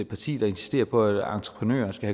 parti der insisterer på at entreprenører skal